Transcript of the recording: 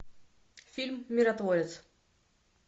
фильм миротворец